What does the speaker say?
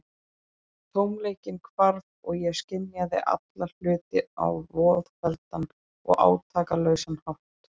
Tómleikinn hvarf, og ég skynjaði alla hluti á voðfelldan og átakalausan hátt.